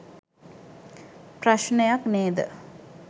ප්‍රශ්නයක් නේද?.